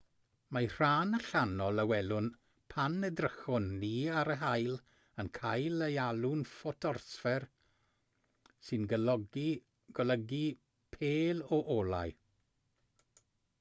mae'r rhan allanol a welwn pan edrychwn ni ar yr haul yn cael ei alw'n ffotosffer sy'n golygu pêl o olau